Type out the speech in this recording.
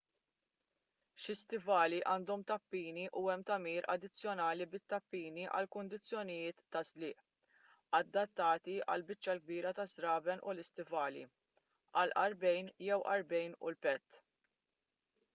xi stivali għandhom tappini u hemm tagħmir addizzjonali bit-tappini għal kundizzjonijiet ta' żliq adattati għall-biċċa l-kbira taż-żraben u l-istivali għall-għarqbejn jew għarqbejn u l-pett